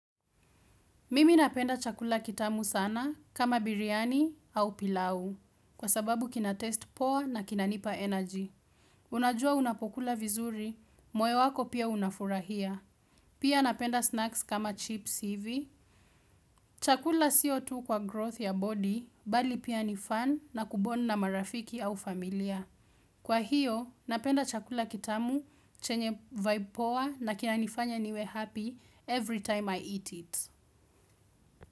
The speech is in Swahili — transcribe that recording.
Mimi napenda chakula kitamu sana kama biryani au pilau kwa sababu kina taste poor na kina nipa energy. Unajua unapokula vizuri, moyo wako pia unafurahia. Pia napenda snacks kama chips hivi. Chakula sio tu kwa growth ya body bali pia ni fun na ku bond na marafiki au familia. Kwa hiyo, napenda chakula kitamu, chenye vibe poa na kinanifanya niwe happy every time I eat it.